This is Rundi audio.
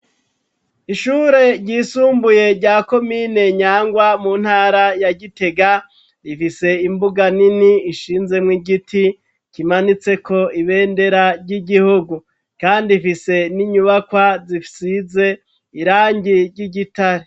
Ishure ryisumbuye, rya komine Nyangwa, mu ntara ya Gitega, rifise imbuga nini, ishinzemwo igiti, kimanitseko ibendera, ry'igihugu; kandi ifise n'inyubakwa, zisize irangi ry'igitare.